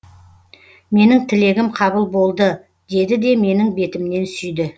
менің тілегім қабыл болды деді де менің бетімнен сүйді